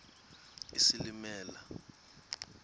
isilimela